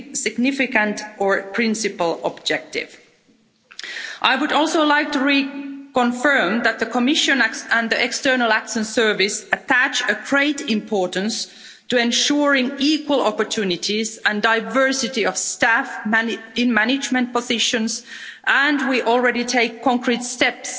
significant or principal objective. I would also like to re confirm that the Commission and the External Action Service attach great importance to ensuring equal opportunities and diversity of staff in management positions and we are already taking concrete steps